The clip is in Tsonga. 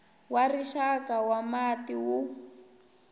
wa rixaka wa mati wu